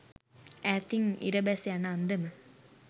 ඈතින් ඉර බැස යන අන්දම